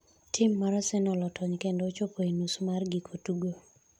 Tim mar Arsenal otony kendo ochop e nus mar gigo tugo